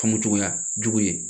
Famucogoya jugu ye